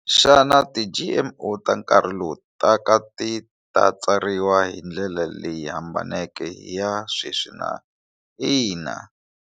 Xana ti G_M_O ta nkarhi lowu taka ti ta tsariwa hi ndlela leyi hambaneke i ya sweswi na ina.